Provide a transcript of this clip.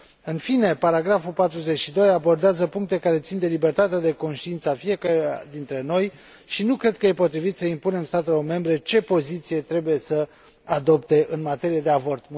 În fine, punctul 42 abordează aspecte care țin de libertatea de conștiință a fiecăruia dintre noi și nu cred că este potrivit să impunem statelor membre ce poziție trebuie să adopte în materie de avort.